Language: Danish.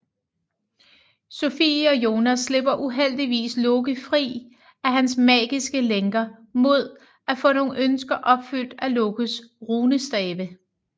Sofie og Jonas slipper uheldigvis Loke fri af hans magiske lænker mod at få nogle ønsker opfyldt af Lokes runestave